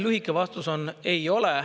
Lühike vastus on: ei ole.